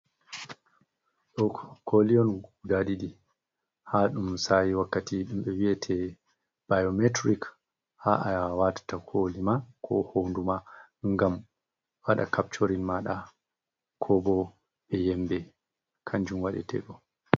Ɗo koli on guda ɗiɗi haa ɗum sa'i wakkati ɗumɓe vi'ete bayometrik. Haa a yaha watata kolima, ko honduma ngam waɗa kapcorin maaɗa ko bo be yimɓe kanjum waɗete ɗo.